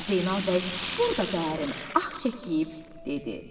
Zeynal bəy burda dərin ah çəkib dedi.